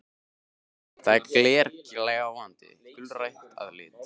Það er glergljáandi og gulgrænt að lit.